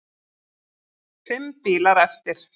Fimm bílar eftir.